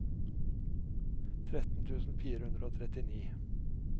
tretten tusen fire hundre og trettini